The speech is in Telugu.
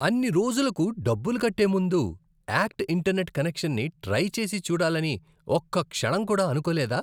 అన్ని రోజులకు డబ్బులు కట్టే ముందు యాక్ట్ ఇంటర్నెట్ కనెక్షన్ని ట్రై చేసి చూడాలని ఒక్క క్షణం కూడా అనుకోలేదా?